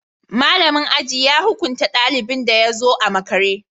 Malamin aji ya hukunta dalibin da ya zo a makare